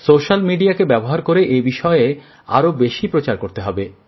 social মিডিয়াকে ব্যবহার করে এ বিষয়ে আরও বেশি প্রচার করতে হবে